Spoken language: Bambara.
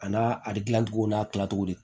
A n'a a bɛ gilan cogo n'a tilacogo de